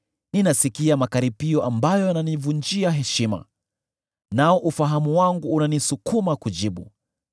Ninasikia makaripio ambayo yananivunjia heshima, nao ufahamu wangu unanisukuma kujibu.